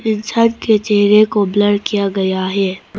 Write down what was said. इंसान के चेहरे को ब्लर किया गया है।